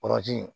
Kɔgɔji